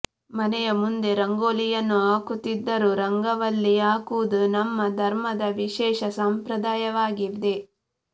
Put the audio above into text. ಮನೆಯ ಮುಂದೆ ರಂಗೋಲಿಯನ್ನು ಹಾಕುತ್ತಿದ್ದರು ರಂಗವಲ್ಲಿ ಹಾಕುವುದು ನಮ್ಮ ಧರ್ಮದ ವಿಶೇಷ ಸಂಪ್ರದಾಯವಾಗಿದೆ